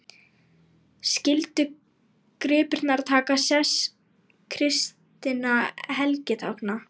Skyldu gripirnir taka sess kristinna helgitákna.